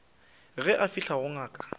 ge a fihla go ngaka